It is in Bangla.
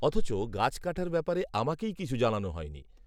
অথচ, গাছ কাটার ব্যাপারে আমাকেই কিছু জানানো হয়নি